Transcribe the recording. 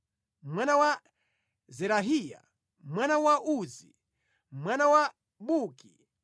mwana wa Zerahiya, mwana wa Uzi, mwana wa Buki,